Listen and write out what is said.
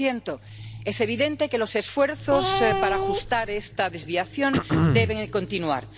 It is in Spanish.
2 Es evidente que los esfuerzos para ajustar esta desviación deben continuar.